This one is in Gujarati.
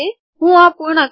ચાલો હું આ પૂર્ણ કરું